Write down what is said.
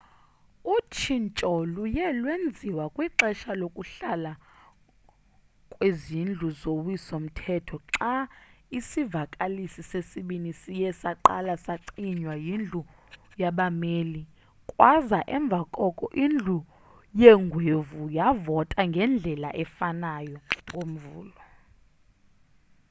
utshintsho luye lwenziwa kwixesha lokuhlala kwezindlu zowiso mthetho xa isivakalisi sesibini siye saqala sacinywa yindlu yabameli kwaza emva koko indlu yeengwevu yavota ngendlela efanayo ngomvulo